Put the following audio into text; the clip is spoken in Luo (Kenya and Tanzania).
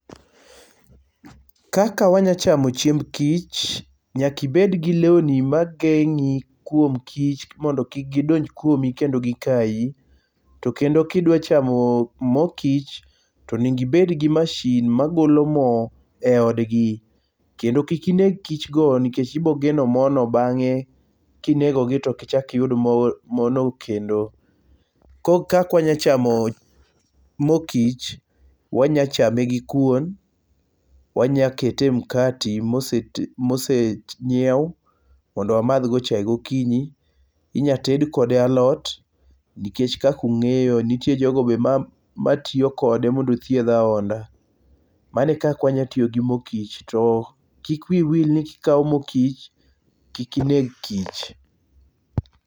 Kaka wanyachamo chiemb kich, nyakibed gi lewni mageng'i kuom kich mondo kik gidonj kuomi kendo gikayi. To kendo kidwachamo mo kich tonego ibed gi mashin magolo mo e odgi. Kendo kik ineg kichgo nikech ibogeno mono bang'e. Kinegogi tokichak iytud mono kendo. Kak wanya chamo mo kich. Wanyachame gi kuon, wanyakete e mkati mosenyiew mondo wamadhgo chae gokinyi, inya ted kode alot nikech kak ung'eyo nitie jogo matiyo kode mondo othiedh ahonda. Mano e kak wanyatiyo gi mo kich. To kik wiu wil ni kikawo mo kich kik ineg kich.